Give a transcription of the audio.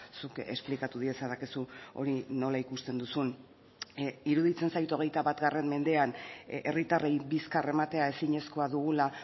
zuk esplikatu diezadakezu hori nola ikusten duzun iruditzen zait hogeita bat mendean herritarrei bizkar ematea ezinezkoa dugula